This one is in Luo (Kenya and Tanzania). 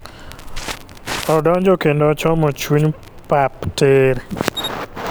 Odonjo kendo ochomo chuny par tiiir…